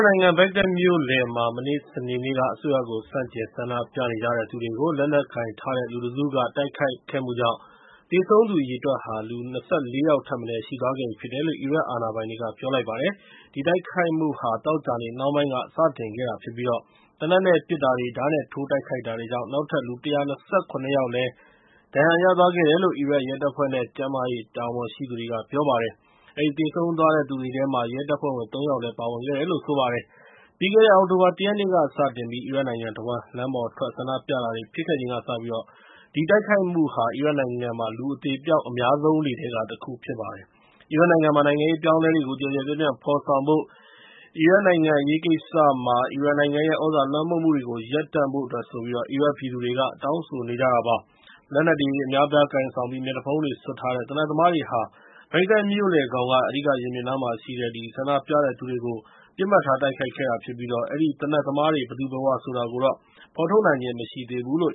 နိုင်ငံ ဘဂ္ဂဒက်မြို့လယ်မှာ မနေ့ စနေနေ့က အစိုးရကို ဆန့်ကျင် ဆန္ဒပြနေကြတဲ့သူတွေကို လက်နက်ကိုင်ထားတဲ့ လူတစုက တိုက်ခိုက်ခဲ့မှုကြောင့် သေဆုံးသူ အရေအတွက်ဟာ ၂၄ ယောက်ထက်မနည်း ရှိသွားခဲ့ပြီဖြစ်တယ်လို့ အီရတ်အာဏာပိုင်တွေက ပြောလိုက်ပါတယ်။ ဒီတိုက်ခိုက်မှုဟာ သောကြာနေ့ နှောင်းပိုင်းက စတင်ခဲ့တာဖြစ်ပြီး သေနတ်နဲ့ ပစ်တာတွေ၊ ဓားနဲ့ထိုး တိုက်ခိုက်တာတွေကြောင့် နောက်ထပ် လူ ၁၂၇ ယောက်လည်း ဒဏ်ရာရသွားတယ်လို့ အီရတ်ရဲတပ်ဖွဲ့နဲ့ ကျန်းမာရေး တာဝန်ရှိသူတွေက ပြောပါတယ်။ အဲဒီ သေဆုံးသွားတဲ့ သူတွေထဲမှာ ရဲတပ်ဖွဲ့ဝင် ၃ ယောက်လည်း ပါဝင်ခဲ့ပါတယ်။ ပြီးခဲ့တဲ့ အောက်တိုဘာ ၁ ရက်နေ့ကစပြီး အီရတ်နိုင်ငံတဝှမ်း လမ်းပေါ်ထွက် ဆန္ဒပြတာတွေ ဖြစ်ခဲ့ချိန်ကစပြီး ဒီတိုက်ခိုက်မှုဟာ အီရတ်နိုင်ငံမှာ လူအသေအပျောက် အများဆုံးတွေထဲက တခုဖြစ်ပါတယ်။ အီရတ်နိုင်ငံမှာ နိုင်ငံရေးအပြောင်းအလဲတွေကို ကျယ်ကျယ်ပြန့်ပြန့် ဖော်ဆောင်ဖို့နဲ့ အီရတ်နိုင်ငံ အရေးကိစ္စမှာ အီရန်နိုင်ငံရဲ့ သြဇာလွှမ်းမိုးမှုတွေကို ရပ်တန့်ဖို့အတွက် အီရတ်ပြည်သူတွေက တောင်းဆိုနေကြတာ ဖြစ်ပါတယ်။ လက်နက်တွေ အများအပြား ကိုင်ဆောင်ပြီး မျက်နှာဖုံးတွေ စွပ်ထားတဲ့ သေနတ်သမားတွေဟာ ဘဂ္ဂဒက်မြို့လယ်ခေါင်က အဓိကရင်ပြင်နားမှာရှိနေတဲ့ ဆန္ဒပြတဲ့သူတွေကို ပစ်မှတ်ထား တိုက်ခိုက်ခဲ့တာဖြစ်ပြီး အဲဒီသေနတ်သမားတွေ ဘယ်သူဘယ်ဝါဆိုတာကို ဖော်ထုတ်နိုင်ခြင်း မရှိဘူးလို့